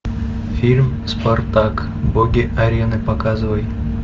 фильм спартак боги арены показывай